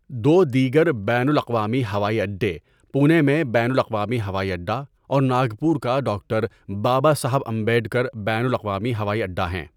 دو دیگر بین الاقوامی ہوائی اڈے پونےمیں بین الاقوامی ہوائی اڈہ اور ناگپور کا ڈاکٹر بابا صاحب امبیڈکر بین الاقوامی ہوائی اڈہ ہیں۔